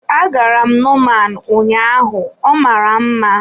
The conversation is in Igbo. Agara m Nomaan ụnyaahụ, ọ mara mma.